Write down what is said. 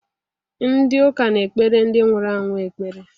Ndị uka na-ekpere ndị nwụrụ anwụ ekpere